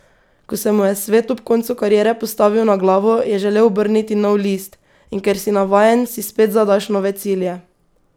Ko se mu je svet ob koncu kariere postavil na glavo, je želel obrniti nov list: "In ker si navajen, si spet zadaš nove cilje.